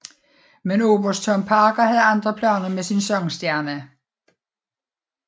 Men Oberst Tom Parker havde andre planer med sin sangstjerne